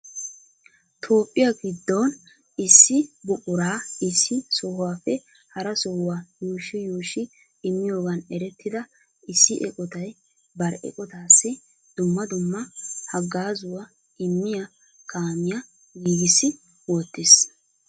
Toophiya giddon issi buqura issi sohuwappe hara sohuwaa yuushshi yuushshi immiyoogan erettida issi eqqotay bari eqqotassi dumma dumma haggaazzuwa immiyaa kaamiyaa giigissi wottiis.